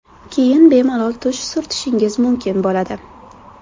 Keyin bemalol tush surtishingiz mumkin bo‘ladi.